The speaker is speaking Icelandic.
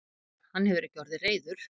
Hafþór: Hann hefur ekki orðið reiður?